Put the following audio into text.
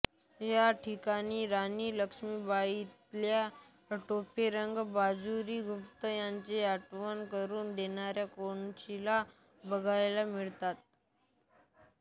या ठिकाणी राणी लक्ष्मीबाईतात्या टोपेरंगो बापूजी गुप्ते यांची आठवण करून देणाऱ्या कोनशीला बघायला मिळतात